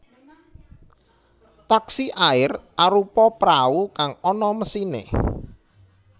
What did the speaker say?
Taksi air arupa prau kang ana mesiné